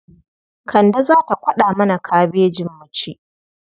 Kande za ta kwaɗa mana kabejin mu ci.